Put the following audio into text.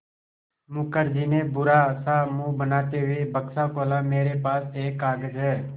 मुखर्जी ने बुरा सा मुँह बनाते हुए बक्सा खोला मेरे पास एक कागज़ है